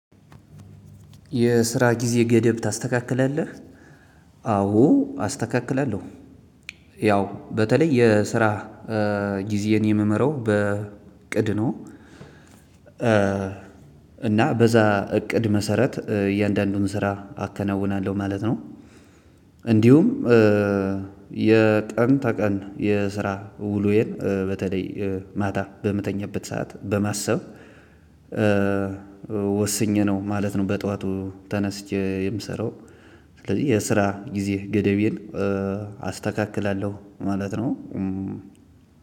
የስራ ጊዜ ገደብ ታስተካክላለህ? አዎ አስተካክላለሁ። ያው በተለይ የስራ ጊዜን የምመራው በቅድ ነው። እና በዛ እቅድ መሰረት እያንዳንዱን ስራ አከናውናለሁ። ማለት። እንዲሁም የቀን ተቀን የስራ ውሎየን በተለይ ማታ በምተኛበት ሰዓት በማሰብ። ወስኜ ነው ማለት ነው። በጧቱ ተነስቼ የምሰራው። ስለዚህ የስራ ጊዜ ገደቤን አስተካክላለሁ ማለት ነው።